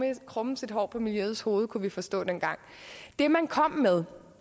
ikke krummes et hår på miljøets hoved kunne vi forstå dengang det man kom med